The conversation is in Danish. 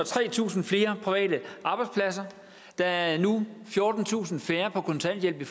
tretusind flere private arbejdspladser der er nu fjortentusind færre på kontanthjælp i